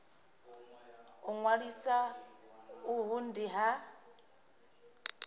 u ṅwalisa uhu ndi ha